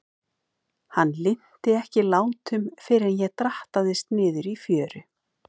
Hann linnti ekki látum fyrr en ég drattaðist niður í fjöru.